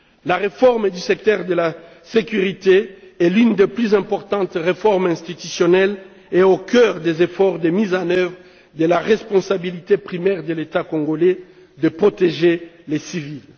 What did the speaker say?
La réforme du secteur de la sécurité est l'une des plus importantes réformes institutionnelles et est au cœur des efforts de mise en œuvre de la responsabilité primaire de l'État congolais de protéger les civils.